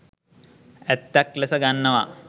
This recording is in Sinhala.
ඇත්තක් ලෙස ගන්නවා.